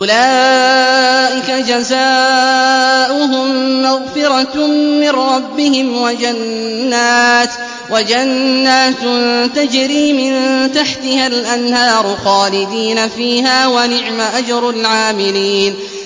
أُولَٰئِكَ جَزَاؤُهُم مَّغْفِرَةٌ مِّن رَّبِّهِمْ وَجَنَّاتٌ تَجْرِي مِن تَحْتِهَا الْأَنْهَارُ خَالِدِينَ فِيهَا ۚ وَنِعْمَ أَجْرُ الْعَامِلِينَ